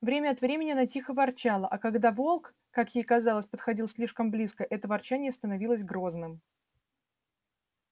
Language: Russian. время от времени она тихо ворчала а когда волк как ей казалось подходил слишком близко это ворчание становилось грозным